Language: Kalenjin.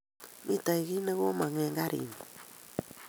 Mito kiy ne ko mang eng garinyu